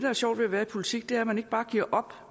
er sjovt ved at være i politik er jo at man ikke bare giver op